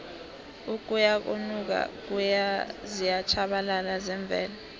ukuyanokuya ziyatjhabalala zemvelo